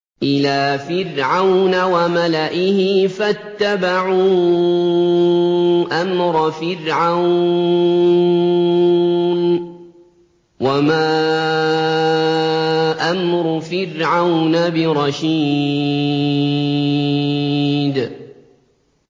إِلَىٰ فِرْعَوْنَ وَمَلَئِهِ فَاتَّبَعُوا أَمْرَ فِرْعَوْنَ ۖ وَمَا أَمْرُ فِرْعَوْنَ بِرَشِيدٍ